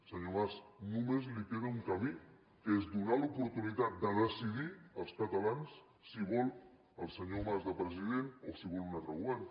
senyor mas només li queda un camí que és donar l’oportunitat de decidir als catalans si volen el senyor mas de president o si volen un altre govern